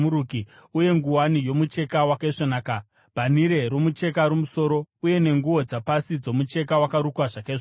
uye nguwani yomucheka wakaisvonaka, bhanhire romucheka romumusoro uye nenguo dzapasi dzomucheka wakarukwa zvakaisvonaka.